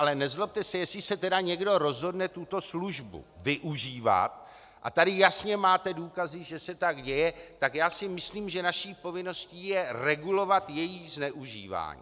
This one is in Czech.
Ale nezlobte se, jestli se tedy někdo rozhodne tuto službu využívat, a tady jasně máte důkazy, že se tak děje, tak já si myslím, že naší povinností je regulovat její zneužívání.